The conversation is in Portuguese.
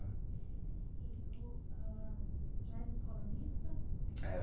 E o a... Já era escola mista? Era